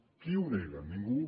qui ho nega ningú